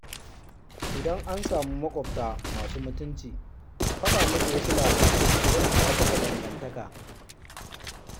Idan an samu maƙwabta masu mutunci, faɗa musu wasu labarai yana ƙarfafa dangantaka.